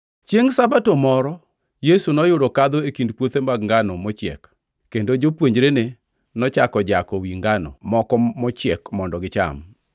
Chiengʼ Sabato moro Yesu noyudo kadho e kind puothe mag ngano mochiek, kendo jopuonjrene nochako jako wi ngano moko mochiek mondo gicham.